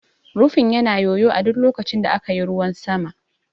Rufin yana yoyo a duk lokacin da aka yi ruwan sama.